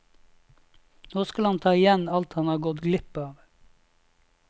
Nå skal han ta igjen alt han har gått glipp av.